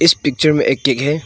Picture में एक cake है।